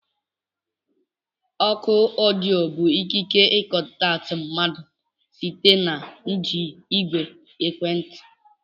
Ọkụ ọdịyo bụ ikike i kontakti mmadụ site n'iji ìgwè ekwentị.